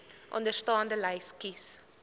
onderstaande lys kies